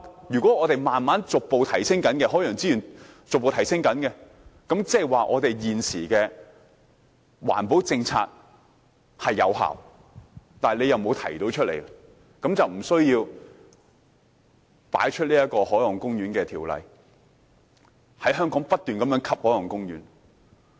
如果我們的海洋資源逐步提升，即是現時的環保政策有效，只是政府沒有提及，這樣便不需要高舉《海岸公園條例》，在香港不斷規劃海岸公園。